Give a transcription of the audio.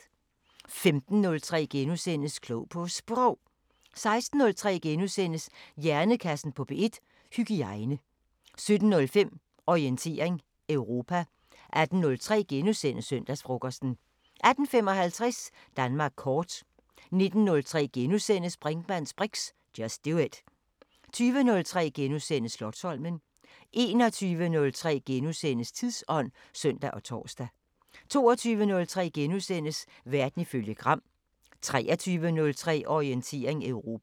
15:03: Klog på Sprog * 16:03: Hjernekassen på P1: Hygiejne * 17:05: Orientering Europa 18:03: Søndagsfrokosten * 18:55: Danmark kort 19:03: Brinkmanns briks: Just do it * 20:03: Slotsholmen * 21:03: Tidsånd *(søn og tor) 22:03: Verden ifølge Gram * 23:03: Orientering Europa